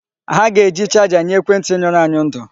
Ha ga-eji charger nye ekwentị nyụrụ anyụ ndụ.